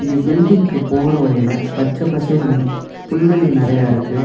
இங்க பில்டிங்க்கு போற வழில பச்ச பசேல்னு புல்வெளி நெறைய இருக்கு.